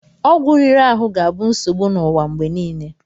Ọgwụ riri ahụ ga-abụ nsogbu n'ụwa mgbe niile.